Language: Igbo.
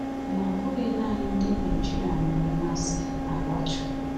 Ma ọ bụghị nanị ndị Naịjirịa nwere mmasị na lọtrị.